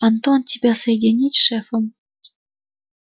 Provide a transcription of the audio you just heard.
антон тебя соединить с шефом